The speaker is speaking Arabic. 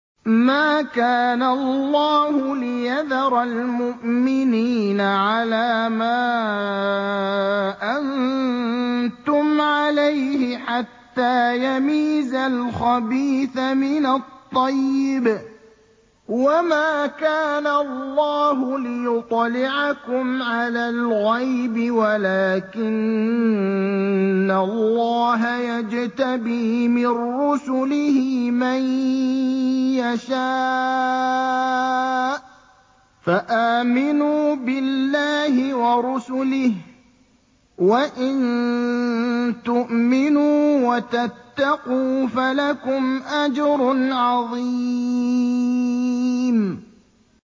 مَّا كَانَ اللَّهُ لِيَذَرَ الْمُؤْمِنِينَ عَلَىٰ مَا أَنتُمْ عَلَيْهِ حَتَّىٰ يَمِيزَ الْخَبِيثَ مِنَ الطَّيِّبِ ۗ وَمَا كَانَ اللَّهُ لِيُطْلِعَكُمْ عَلَى الْغَيْبِ وَلَٰكِنَّ اللَّهَ يَجْتَبِي مِن رُّسُلِهِ مَن يَشَاءُ ۖ فَآمِنُوا بِاللَّهِ وَرُسُلِهِ ۚ وَإِن تُؤْمِنُوا وَتَتَّقُوا فَلَكُمْ أَجْرٌ عَظِيمٌ